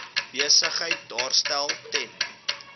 besigheid daarstel ten